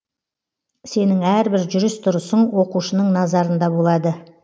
сенің әрбір жүріс тұрысың оқушының назарында болады